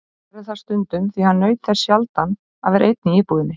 Hann gerði það stundum því hann naut þess sjaldan að vera einn í íbúðinni.